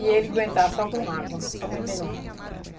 E ele aguentar só com água, só bebendo água.